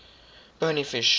bony fish